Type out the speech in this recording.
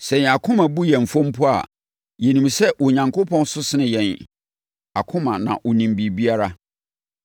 Sɛ yɛn akoma bu yɛn fɔ mpo a, yɛnim sɛ Onyankopɔn so sene yɛn akoma na ɔnim biribiara.